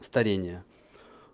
старение